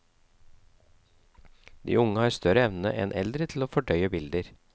De unge har større evne enn eldre til å fordøye bilder.